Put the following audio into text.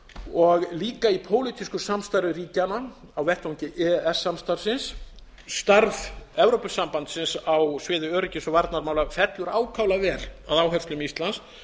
og líka í pólitísku samstarfi ríkjanna á vettvangi e e s samstarfsins starf evrópusambandsins á sviði öryggis og varnarmála fellur ákaflega vel að áherslum íslands